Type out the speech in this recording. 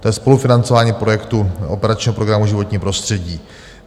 To je spolufinancování projektu operačního programu Životní prostředí.